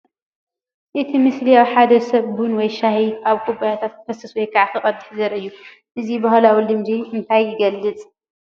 እቲ ምስሊ ሓደ ሰብ ቡን ወይ ሻሂ ኣብ ኩባያታት ከፍስስ ወይ ከዓ ክቐድሕ ዘርኢ እዩ። እዚ ባህላዊ ልምዲ እንታይ ይገልፅ?